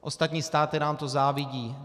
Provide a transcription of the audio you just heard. Ostatní státy nám to závidí.